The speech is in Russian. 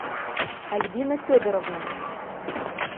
альбина федоровна